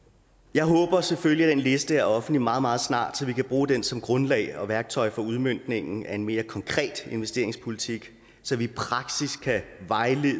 jeg håber selvfølgelig at den liste er offentlig meget meget snart så vi kan bruge den som grundlag og værktøj for udmøntningen af en mere konkret investeringspolitik så vi kan vejlede